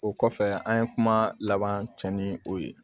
O kɔfɛ an ye kuma laban cɛ ni o ye